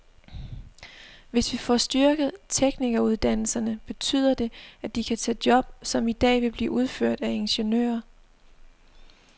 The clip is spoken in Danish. Hvis vi får styrket teknikeruddannelserne, betyder det, at de kan tage job, som i dag bliver udført af ingeniører.